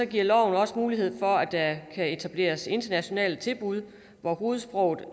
giver loven også mulighed for at der kan etableres internationale tilbud hvor hovedsproget